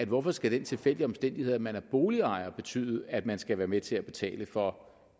hvorfor skal den tilfældige omstændighed at man er boligejer betyde at man skal være med til at betale for